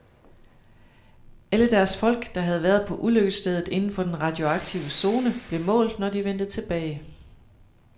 Alle deres folk, der havde været på ulykkesstedet inden for den radioaktive zone, blev målt, når de vendte tilbage.